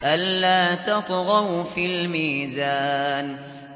أَلَّا تَطْغَوْا فِي الْمِيزَانِ